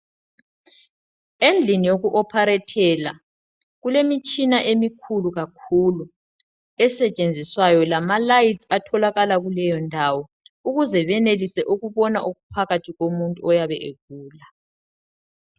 Endlini yoku ophalethela kulemitshina emikhulu kakhulu. Esetshenziswayo lamalayithi atholakala kuleyo ndawo ukuze benelise ukubona okuphakathi komuntu oyabe egula.